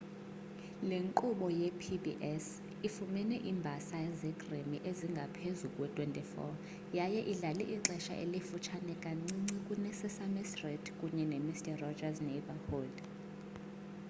le nkqubo yepbs ifumene iimbasa ze-emmy ezingaphezu kwe-24 yaye idlale ixesha elifutshane kancinci kune-sesame street kunye nemister roger's neighborhood